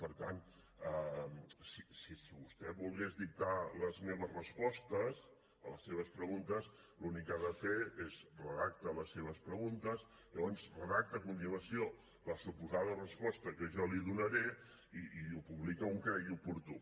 per tant si vostè volgués dictar les meves respostes a les seves preguntes l’únic que ha de fer és redacta les seves preguntes llavors redacta a continuació la suposada resposta que jo li donaré i ho publica on cregui oportú